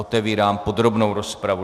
Otevírám podrobnou rozpravu.